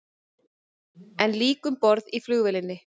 Enn lík um borð í flugvélinni